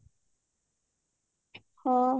ହଁ